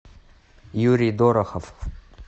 юрий дорохов